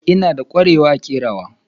Ina da ƙwarewa a kerawa.